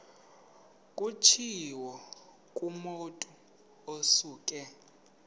kutshiwo kumotu osuke